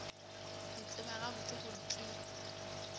ke tseba gabotse gore ke